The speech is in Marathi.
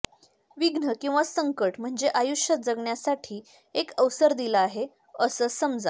विघ्न किंवा संकट म्हणजे आयुष्य जगण्यासाठी एक अवसर दिला आहे असं समजा